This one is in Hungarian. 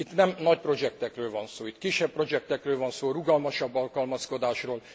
Itt nem nagy projektekről van szó. Itt kisebb projektekről van szó, rugalmasabb alkalmazkodásról.